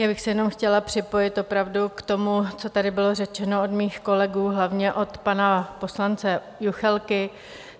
Já bych se jenom chtěla připojit opravdu k tomu, co tady bylo řečeno od mých kolegů, hlavně od pana poslance Juchelky.